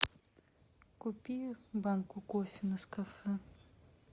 купи банку кофе нескафе